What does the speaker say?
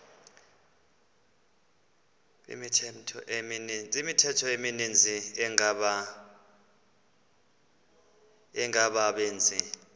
imithqtho emininzi engabaqbenzi